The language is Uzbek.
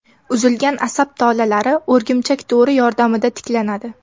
Uzilgan asab tolalari o‘rgimchak to‘ri yordamida tiklanadi.